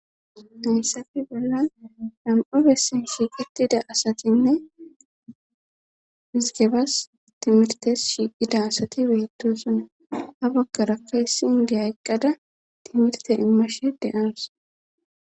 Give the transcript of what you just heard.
Nayssafe bolla nam,o bessin shiiqetida asatinne mizgebas timirtes shiiqida asati beedo suna abakarakka hissiingeya eqqada timirte immashe deyansa.